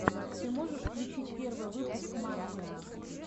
ты можешь включить первый выпуск мафиа